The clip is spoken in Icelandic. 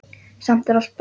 Samt er allt breytt.